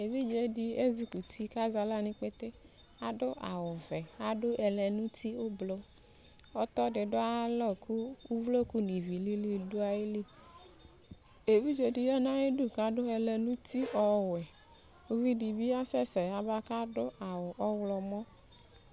Evidze dɩ ezikuti kʋ azɛ aɣla nʋ ikpete Adʋ awʋvɛ, adʋ ɛlɛnʋti ʋblo Ɔtɔ dɩ dʋ ayalɔ kʋ uvluku nʋ ivi lili dʋ ayili Evidze dɩ dʋ ayidu kʋ adʋ ɛlɛnʋti ɔwɛ Uvi dɩ bɩ asɛsɛ yaba kʋ adʋ awʋ ɔɣlɔmɔ